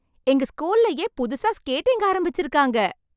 எங்க ஸ்கூல்லே புதுசா ஸ்கேட்டிங் ஆரம்பிச்சிருக்காங்க!